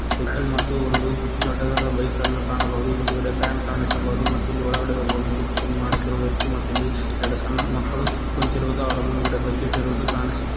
cycle ಮತ್ತು ಒಂದು ದೊಡ್ಡದಾದ ಬೈಕ್ ಅನ್ನು ಕಾಣಬಹುದು ಹಿಂದುಗಡೆ ಫ್ಯಾನ್ ಕಾಣಿಸಬಹುದು ಮತ್ತು ಇಲ್ಲಿ ಒಳಗಡೆ ಒಬ್ಬ ವ್ಯಕ್ತಿ ಕಟಿಂಗ್ ಮಾಡುತ್ತಿರುವ ವ್ಯಕ್ತಿ ಮತ್ತು ಇಲ್ಲಿ ಎರಡು ಸಣ್ಣ ಮಕ್ಕಳು ಕುಂತಿರುವುದು ಮತ್ತು ಅವರ ಮುಂದುಗಡೆ ಬಕೆಟ್ ಇರುವುದು ಕಾಣಿಸುತ್ತಿ --